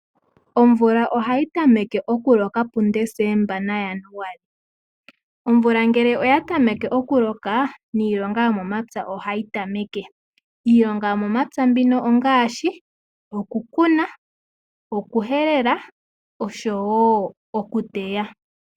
Omvula ohayi tameke okuloka pu Decemba naJanuali. Omvula ngele oya tameke okuloka niilonga yomomapya ohayi tameke. Iilonga yomomapya ongaashi okukuna okuhelela noshowo okuteya.